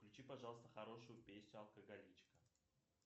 включи пожалуйста хорошую песню алкоголичка